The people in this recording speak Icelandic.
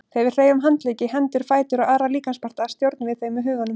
Þegar við hreyfum handleggi, hendur, fætur og aðra líkamsparta stjórnum við þeim með huganum.